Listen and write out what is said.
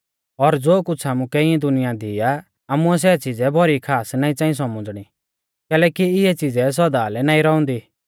और ज़ो कुछ़ आमुकै इऐं दुनिया दी आ आमुऐ सै च़िज़ै भौरी खास नाईं च़ांई सौमझ़णी कैलैकि इऐ च़िज़ै सौदा लै नाईं रौउंदी